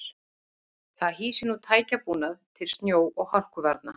Það hýsir nú tækjabúnað til snjó og hálkuvarna.